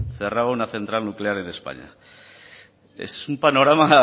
cerraba una central nuclear en españa es un panorama